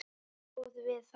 Stóð við það.